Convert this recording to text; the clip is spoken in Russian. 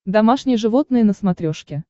домашние животные на смотрешке